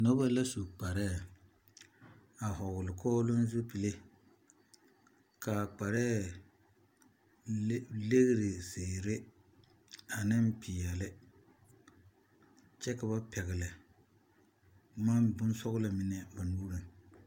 Noba la su kparɛɛ a hɔɔle kɔɔloŋ zupile k'a kparɛɛ legiri zeere ane peɛle kyɛ ka ba pɛgele bonsɔgelɔ mine ba nuuriŋ.